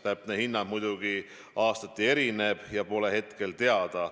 Täpne hinnang muidugi aastati erineb ja tänavu pole hetkel teada.